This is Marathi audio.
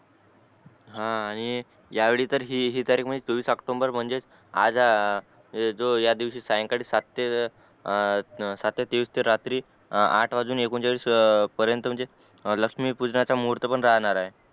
हा आणि यावेळी तरी हि हि तारिक म्हणजे चोवीस ओक्टोम्बर म्हणजे आज जो या दिवशी सायंकाळी सात तेवीस ते रात्री आठ एकोणचाळीस पर्यंत म्हणजे लक्ष्मी पूजनाचा मुहूर पण राहणार ए